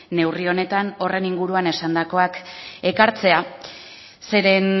neurri honetan horren inguruan esandakoak ekartzea zeren